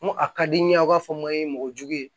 Ko a ka di n ye a b'a fɔ ma ye mɔgɔ jugu ye